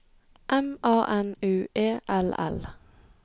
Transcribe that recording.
M A N U E L L